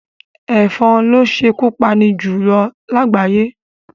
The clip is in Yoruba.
Èfon lo sékú pani jù lágbàyé